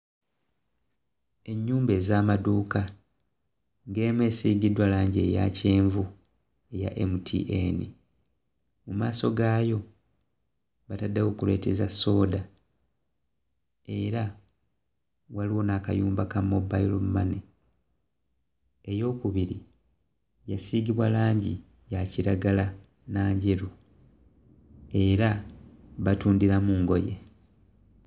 Ennyumba ez'amaduuka, ng'emu esiigiddwa langi eya kyenvu eya MTN. Mu maaso gaayo bataddewo kkuleeti za sooda era waliwo n'akayumba ka "mobile money." Eyookubiri yasiigibwa langi ya kiragala na njeru era batundiramu ngoye.